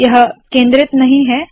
यह केंद्रित नहीं है